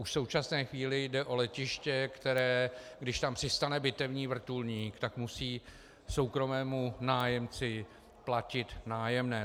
Už v současné chvíli jde o letiště, které, když tam přistane bitevní vrtulník, tak musí soukromému nájemci platit nájemné.